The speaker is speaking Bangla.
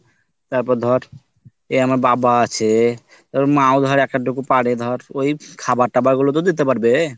তারপর ধর এই আমার বাবা আছে আবার মা ও ধর এক আধটু পারে ধর ওই খাবার টাবার গুলো তো দিতে পারবে